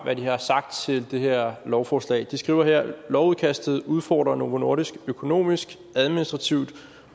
hvad de har sagt til det her lovforslag de skriver lovudkastet udfordrer novo nordisk økonomisk administrativt